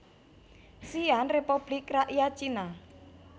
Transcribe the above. Xi an Republik Rakyat Cina